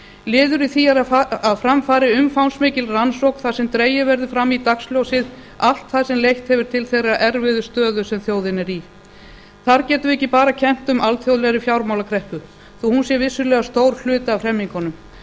liður í því er að fram fari umfangsmikil rannsókn þar sem dregið verði fram í dagsljósið allt það sem leitt hefur til þeirrar erfiðu stöðu sem þjóðin er í þar getum við ekki bara kennt um alþjóðlegri fjármálakreppu þó hún sé vissulega stór hluti af hremmingunum